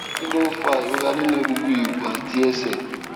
kí ló ń fa ìrora nínú egungun ìrù àti àti ẹsẹ